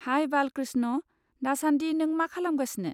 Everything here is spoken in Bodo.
हाइ बालकृष्ण, दासान्दि नों मा खालामगासिनो?